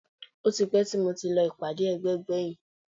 Ó ti pẹ́ tí mo ti lọ ìpàdé ẹgbẹ́ gbẹ̀yìn